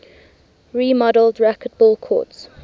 remodeled racquetball courts